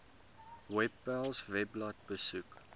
webpals webblad besoek